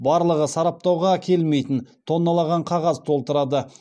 барлығы сараптауға келмейтін тонналаған қағаз толтырады